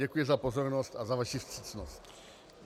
Děkuji za pozornost a za vaši vstřícnost.